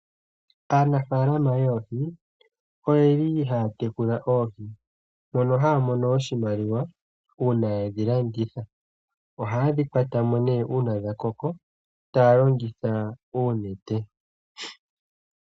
Aanafaalama oyeli haya tekula oohi mono haya mono oshimaliwa uuna yedhi landitha. Ohayedhi kwatamo nee uuna dha koko taya longitha oonete.